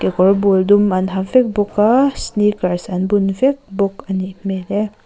kekawr bul dum an ha vek bawk a sneakers an bun vek bawk a nih hmel e.